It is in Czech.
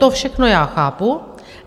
To všechno já chápu.